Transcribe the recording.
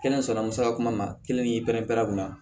Kelen sɔnna musaka kuman ma kelen ni pɛrɛn-pɛrɛ u la